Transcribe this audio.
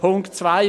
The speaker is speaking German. Punkt 2: